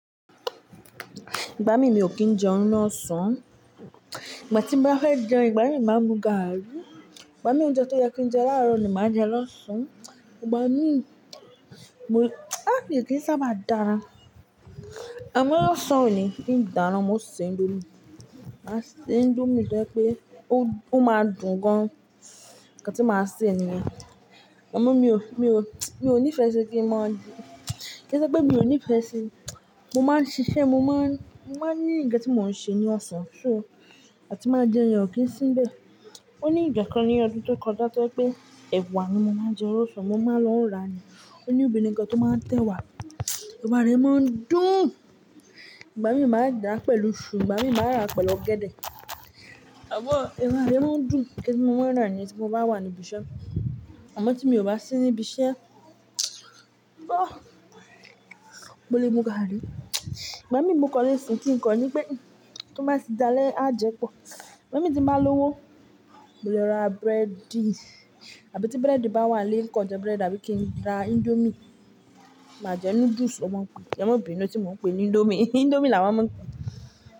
Ìgbà mí, mi ò kí ń jẹún ni ọ̀sán, ìgbà tí n bá fẹ́ jẹun ìgbà mí máa mú garri. Ìgbà mí oúnjẹ tó yẹ kí n jẹ láàárọ̀ ni màá jẹ lọ́sàn. Ìgbà mí, mo-- mi kí n sábà dára. Àmọ́ lọ́sàn oní ń dáná, mo ṣè indomie. A ṣè indomie tó yẹ pé ó máa dùn gan-an. Ǹkan tí màá ṣè nìyẹn, àmọ́ mi ò, mi ò, mi ò nífẹ̀ẹ́ ṣe kí ń má dùn. Kí ṣe pé mi ò nífẹ̀ẹ́ ṣe, mo máa ń ṣiṣẹ́, mo máa ń, mo máa ń ní ń ǹkan tí mó ń ṣe ní ọ̀sán. So àti máa jẹun yẹn ò kí ń síbẹ̀. Oní ìgbà kan ní ọdún tó kọjá tó yẹ pé ẹ̀wà ni mo máa ń jẹ lósàn mo máa ń lọ ra ni. Óni obìnrin kan tó máa ń tẹ́ wa, ẹ̀wà rẹ̀ máa ń dùn. Ìgbà mí màá dà á pẹ̀lú iṣu, ìgbà mí máa rá pẹ̀lú ọ̀gẹ̀dẹ̀. Àmọ́ ẹ̀wà rẹ̀ máa ń dùn. Ǹkan tí mo máa ń ra ni tí mo bá wà ní ibi iṣẹ́. Àmọ́ tí mi ò bá sí ní ibi iṣẹ́, mo lè mú garri. Ìgbà mí mo kan lè sun kín ń kọ ní pé tó bá ti dáa lẹ́, á jẹ pọ̀. Ìgbà tí m bá lówó mo lè ra búrẹ́dì. Àbí tí búrẹ́dì bá wà nlé ǹkan jẹ búrẹ́dì àbí kí n ra indomie. Màá jẹ noodles wọn ń pe, ẹ́ mọ̀ bínú tí mo pè ní indomie. Indomie là wọn máa ń.